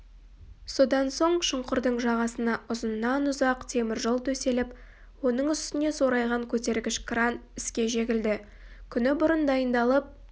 содан соң шұңқырдың жағасына ұзыннан-ұзақ темір жол төселіп оның үстіне сорайған көтергіш кран іске жегілді күні бұрын дайындалып